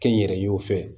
Kɛnyɛrɛyew fɛ